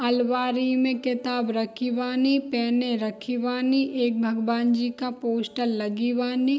आलमारी में किताब रखे बानी पेने रखी बानी एक भगवान जी का पोस्टर लगी बानी।